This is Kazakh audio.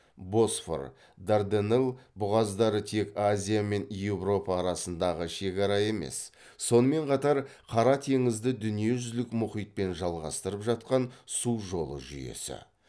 босфор дарданелл бұғаздары тек азия мен еуропа арасындағы шекара емес сонымен қатар қара теңізді дүниежүзілік мұхитпен жалғастырып жатқан су жолы жүйесі